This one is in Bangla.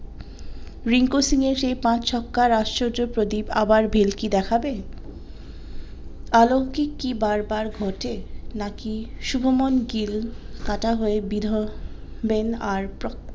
রিঙ্কু সিং এর সেই পাঁচ ছক্কার আশ্চর্য প্রদীপ আবার ভেলকি দেখাবে অলৌকিক কি বার বার ঘটে নাকি সুভমন গিল কাঁটা হয়ে বিঁধবেন আর